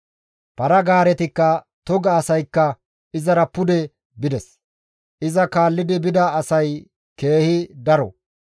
Para-gaaretikka toga asaykka izara pude bides; iza kaallidi bida asay keehi daro.